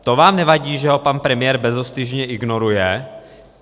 To vám nevadí, že ho pan premiér bezostyšně ignoruje?